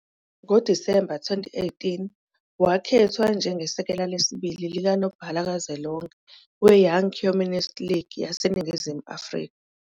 NgoDisemba 2018, wakhethwa njengesekela lesibili likanobhala kazwelonke weYoung Communist League yaseNingizimu Afrika.